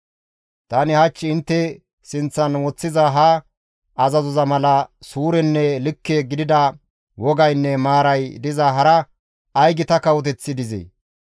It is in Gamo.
Tani hach intte sinththan woththiza ha azazoza mala suurenne likke gidida wogaynne maaray diza hara ay gita kawoteththi dizee?